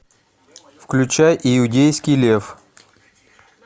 включай иудейский лев